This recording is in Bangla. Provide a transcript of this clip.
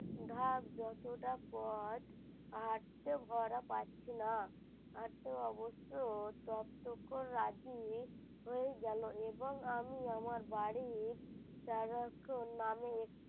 ঘাস যতটা পথ আর তো ভরা পাচ্ছি না আর তো অবশ্য ততটাই রাজি হয়ে গেল এবং আমি আমার বাড়ির চারক্ষো নামে